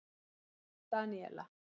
Daníela